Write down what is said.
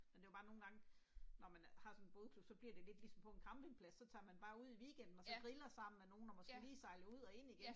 Men det var bare nogle gange når man har sådan en bådklub, så bliver det ligesom på en campingplads, så tager man bare ud i weekenden og så griller sammen og nogen der måske lige sejler ud og ind igen